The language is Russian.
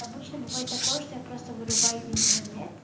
обычно бывает такое что я просто вырубаю интернет